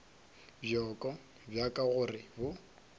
bjoko bja ka gore bo